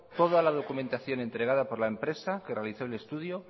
toda la documentación entregada por la empresa que realizó el estudio